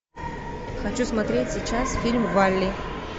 хочу смотреть сейчас фильм валли